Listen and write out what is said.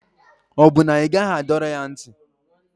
Ọ bụ na ị gaghị adọrọ ya ntị?